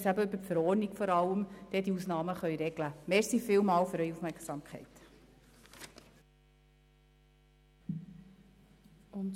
Deshalb beantrage ich Ihnen, dieser Rückweisung zuzustimmen.